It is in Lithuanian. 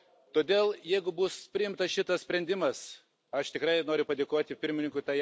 Todėl, jeigu bus priimtas šitas sprendimas, aš tikrai noriu padėkoti pirmininkui A.